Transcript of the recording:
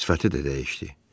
Sifəti də dəyişdi.